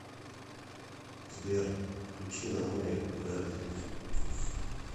сбер включи на море верби